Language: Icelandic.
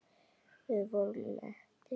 Við vorum mettir.